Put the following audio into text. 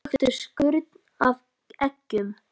Taktu skurn af eggjum.